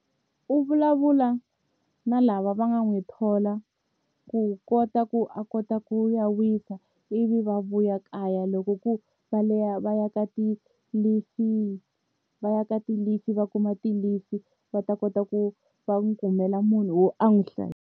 U vulavula na lava va nga n'wi thola ku kota ku a kota ku ya wisa ivi va vuya kaya loko ku va va ya ka ti-leave va ya ka ti-leave va kuma ti-leave va ta kota ku va n'wi kumela munhu wo a n'wi .